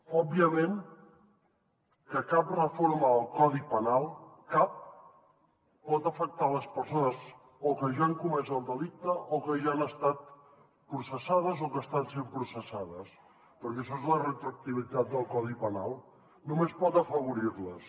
òbviament que cap reforma del codi penal cap pot afectar les persones o que ja han comès el delicte o que ja han estat processades o que estan sent processades perquè això és la retroactivitat del codi penal només pot afavorir les